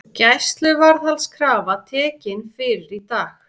Gæsluvarðhaldskrafa tekin fyrir í dag